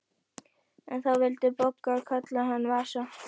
En þá vildi Bogga kalla hann Vasa.